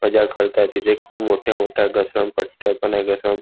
मजा करता आहे तिथे खूप मोठ्या मोठ्या घसरण पट्ट्या पण आहे घसरण --